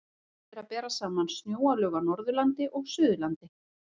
Fróðlegt er að bera saman snjóalög á Norðurlandi og Suðurlandi.